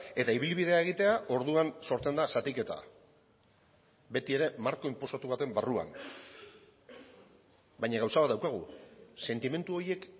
eta ibilbidea egitea orduan sortzen da zatiketa beti ere marko inposatu baten barruan baina gauza bat daukagu sentimendu horiek